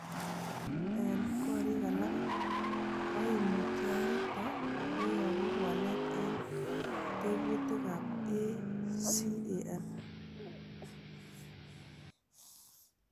En korik alak, koimutioniton koyobu walet en tekutikab ACAN.